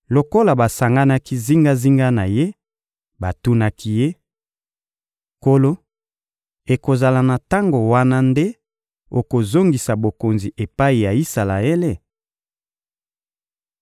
Lokola basanganaki zingazinga na Ye, batunaki Ye: — Nkolo, ekozala na tango wana nde okozongisa Bokonzi epai ya Isalaele?